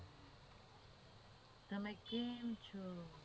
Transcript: તમે કેમ છો